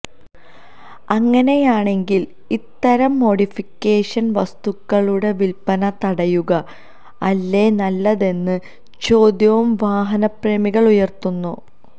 അങ്ങനെയാണെങ്കിൽ ഇത്തരം മോഡിഫിക്കേഷന് വസ്തുക്കളുടെ വിൽപ്പന തടയുക അല്ലേ നല്ലതെന്ന ചോദ്യവും വാഹന പ്രേമികൾ ഉയർത്തുന്നു